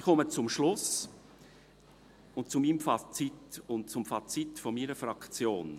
Ich komme zum Schluss, zu meinem Fazit und zum Fazit meiner Fraktion.